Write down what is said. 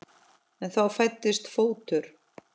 Og þá fæddist fótur.